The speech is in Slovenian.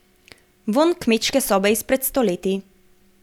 Vonj kmečke sobe izpred stoletij.